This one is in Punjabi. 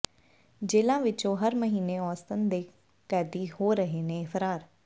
ਜੇਲ੍ਹਾਂ ਵਿੱਚੋਂ ਹਰ ਮਹੀਨੇ ਔਸਤਨ ਦੋ ਕੈਦੀ ਹੋ ਰਹੇ ਨੇ ਫ਼ਰਾਰ